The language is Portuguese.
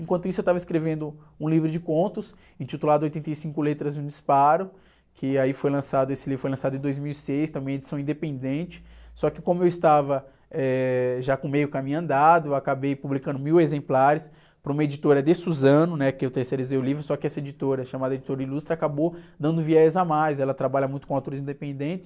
Enquanto isso, eu estava escrevendo um livro de contos intitulado Oitenta e Cinco Letras e um Disparo, que aí foi lançado, esse livro foi lançado em dois mil e seis, também é edição independente, só que como eu estava, eh, já com meio caminho andado, eu acabei publicando mil exemplares para uma editora de Suzano, né? Que eu terceirizei o livro, só que essa editora chamada Editora Ilustra acabou dando um viés a mais, ela trabalha muito com atores independentes,